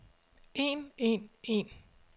en en en